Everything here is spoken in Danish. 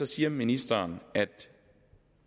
siger ministeren at